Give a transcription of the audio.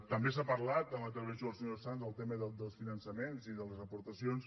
també s’ha parlat en la intervenció del senyor sanz del tema dels finançaments i de les aportacions